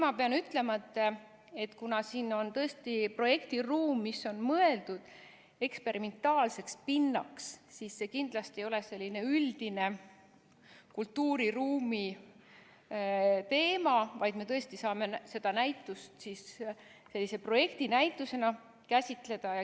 " Ma pean ütlema, et kuna siin on tõesti projektiruum, mis on mõeldud eksperimentaalseks pinnaks, siis see kindlasti ei ole selline üldine kultuuriruumi teema, vaid me saame seda näitust käsitleda projektinäitusena.